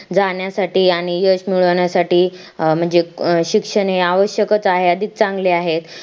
जाण्या साठी आणि यश मिळवण्यासाठी म्हणजे अं शिक्षण हे अवयशक च आहे अधिक चांगले आहे